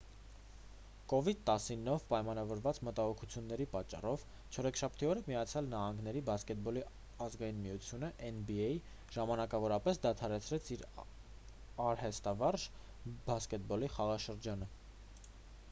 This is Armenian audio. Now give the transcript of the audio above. covid-19-ով պայմանավորված մտահոգությունների պատճառով չորեքշաբթի օրը միացյալ նահանգների բասկետբոլի ազգային միությունը nba ժամանակավորապես դադարեցրեց իր արհեստավարժ բասկետբոլի խաղաշրջանը: